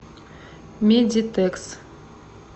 медитекс